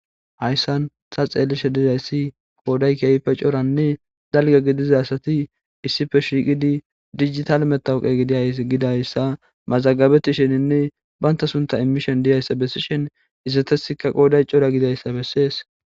Haysan ta xelashe dizaysi issi qoday kehipe c'oranne dalga gidiza asati issipe shiqidi dijitale matoqiya ezigidaysa mazagabetisheninne banta suntha imishen diyaysa besishen izetasikka qoday c'ora gididaysa beses.